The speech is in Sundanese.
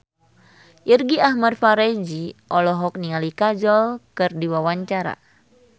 Irgi Ahmad Fahrezi olohok ningali Kajol keur diwawancara